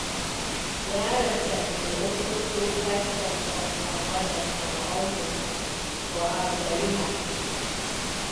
di rsf bin also kill five of of her brothers and her uncles for al seriha.